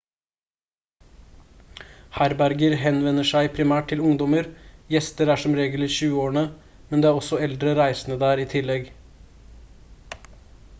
herberger henvender seg primært til ungdommer gjester er som regel i tjueårene men det er også eldre reisende der i tillegg